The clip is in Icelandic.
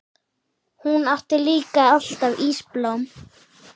Hún átti líka alltaf ísblóm.